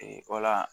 Ee o la